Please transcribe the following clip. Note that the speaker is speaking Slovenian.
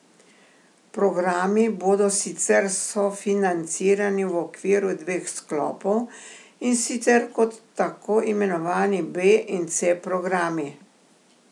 Programi bodo sicer sofinancirani v okviru dveh sklopov, in sicer kot tako imenovani B in C programi.